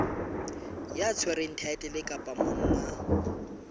ya tshwereng thaetlele kapa monga